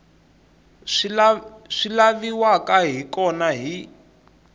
swi laviwaka hi kona hi